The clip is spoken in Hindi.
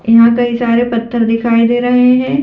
यहां कई सारे पत्थर दिखाई दे रहे हैं।